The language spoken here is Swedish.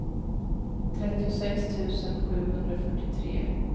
trettiosex tusen sjuhundrafyrtiotre